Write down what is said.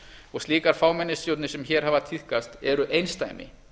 og slíkar fámennisstjórnir sem hér hafa tíðkast eru einsdæmi